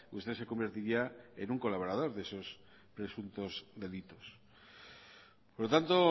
usted se convertiría en un colaborar de esos presuntos delitos por lo tanto